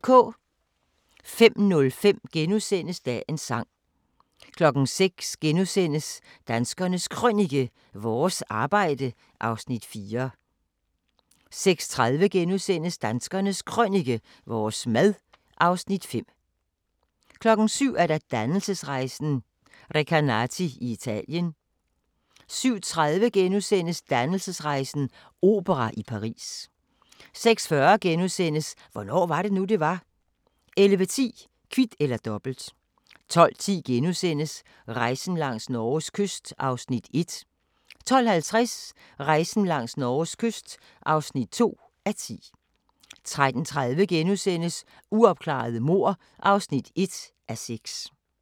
05:05: Dagens sang * 06:00: Danskernes Krønike - vores arbejde (Afs. 4)* 06:30: Danskernes Krønike - vores mad (Afs. 5)* 07:00: Dannelsesrejsen – Recanati i Italien * 07:30: Dannelsesrejsen - opera i Paris * 08:40: Hvornår var det nu, det var? * 11:10: Kvit eller Dobbelt 12:10: Rejsen langs Norges kyst (1:10)* 12:50: Rejsen langs Norges kyst (2:10) 13:30: Uopklarede mord (1:6)*